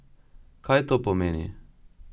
Kaj to pomeni?